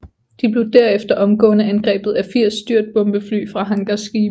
De blev derefter omgående angrebet af 80 styrtbombefly fra hangarskibe